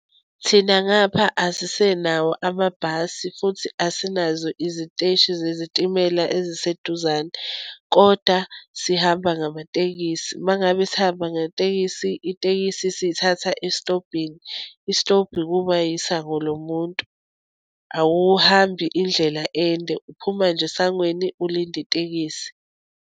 Thina ngapha asisenawo amabhasi, futhi asinazo iziteshi zezitimela eziseduzane. Kodwa sihamba ngamatekisi. Uma ngabe sihamba ngetekisi, itekisi siyithatha esitobhini. Isitobhi kuba yisango lo muntu, awuhambi indlela ende, uphuma nje esangweni, ulinde itekisi.